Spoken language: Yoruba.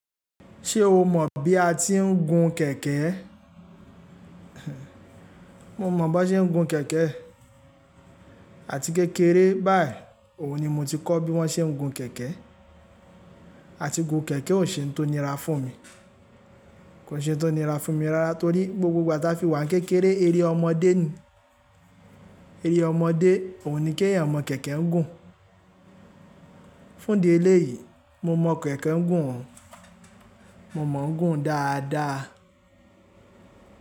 Ṣé o mọ̀ bí a ti ń gun kẹ̀kẹ́? Mo mọ̀ bó ṣe ń gun kẹ̀kẹ́. Àti kékeré báí, òun ni mo ti kọ́ bí wón ṣe ń gun kẹ̀kẹ́. Àti gun kẹ̀kẹ́ ò ṣe ń tonira fún mi. Kò ṣe ń tonira fún mi rárá torí gbogbo ìgbà tá fi wà ní kékeré, eré ọmọdé ni. Eré ọmọdé, òun ni kí ẹ̀yàn mọ̀ kẹ̀kẹ́ ń gùn. Fún ìdí eléyìí, mo mọ̀ kẹ̀kẹ́ ń gùn. Mo mọ̀ ń gùn dáadáa.